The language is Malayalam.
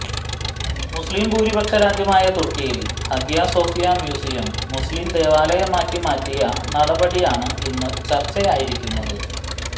മുസ്ലിം ഭൂരിപക്ഷരാജ്യമായ തുർക്കിയിൽ ഹഗിയ സോഫിയ മ്യൂസിയം മുസ്ലിം ദേവാലയമാക്കി മാറ്റിയ നടപടിയാണ് ഇന്ന് ചർച്ചയായിരിക്കുന്നത്